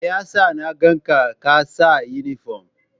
Me ya sa na ga ka saka inifom?